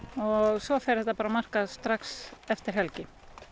og svo fer þetta bara á markað strax eftir helgi